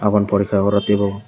boro porikka ke tai bo.